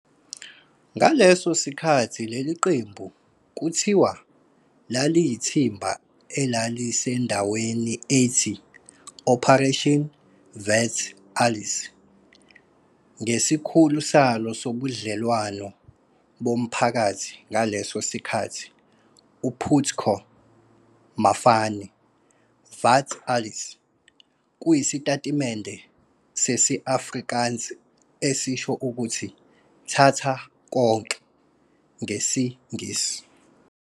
Ngaleso sikhathi leli qembu kuthiwa laliyithimba elalisendaweni ethi "Operation vat alles" ngesikhulu salo sobudlelwano bomphakathi ngaleso sikhathi u-Putco Mafani, "vat alles" kuyisitatimende sesi-Afrikaans esisho ukuthi "thatha konke" ngesiNgisi.